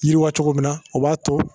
Yiriwa cogo min na o b'a to